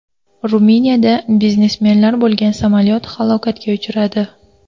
Ruminiyada biznesmenlar bo‘lgan samolyot halokatga uchradi.